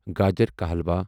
گاجر کا حلوا